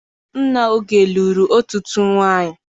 Nna Oge lụrụ ọtụtụ nwaanyị.